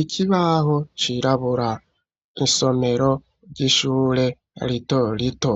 Ikibaho cirabura isomero ry'ishure rito rito